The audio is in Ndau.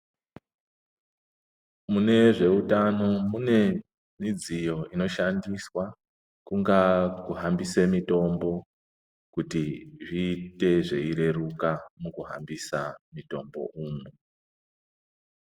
Mune zveutano mune midziyo inoshandiswa kungaa kuhambise mitombo kuti zviite zveireruka mukuhambisa mutombo umwu.